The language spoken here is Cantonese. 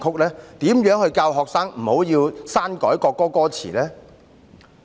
怎樣教導學生不要篡改國歌歌詞？